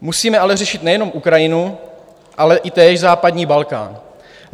Musíme řešit ale nejenom Ukrajinu, ale i též západní Balkán.